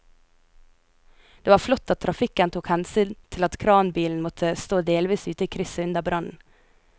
Det var flott at trafikken tok hensyn til at kranbilen måtte stå delvis ute i krysset under brannen.